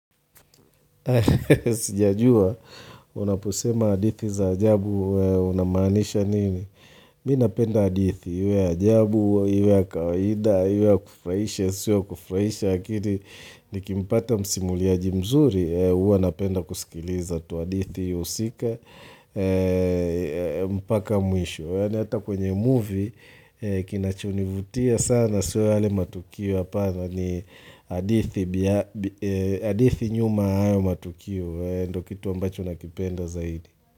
Sijajua, unaposema hadithi za ajabu, unamaanisha nini? Mimi napenda hadithi, iwe ya ajabu au iwe ya kawaida, au iwe ya kufurahisha, isiwe ya kufurahisha, akili nikimpata msimuliaji mzuri, huwa napenda kusikiliza tu hadithi husika, mpaka mwisho. Maana hata kwenye movie kinachonivutia sana siyo yale matukio hapana ni hadithi hadithi nyuma ya hayo matukio ndiyo kitu ambacho nakipenda zaidi.